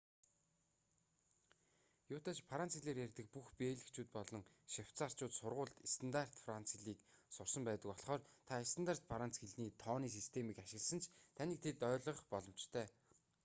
юутай ч франц хэлээр ярьдаг бүх бельгичүүд болон швейцарьчууд сургуульд стандарт франц хэлийг сурсан байдаг болхоор та стандарт франц хэлний тооны системийг ашигласан ч таныг тэд ойлгох боломжтой